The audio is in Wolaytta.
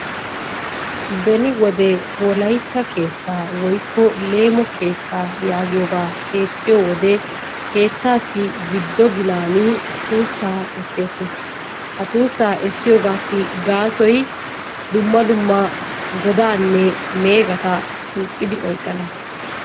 Beni wode wolaitta keettaa woikko leemo keettaa keexxiyo wode keettassi giddo ginan tuussaa esseettes. Ha tuussaa essiyogaasi gaasoy dummaa dumma godaanne meegata tuuqqidi oyqqanaasa.